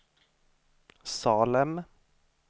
Salem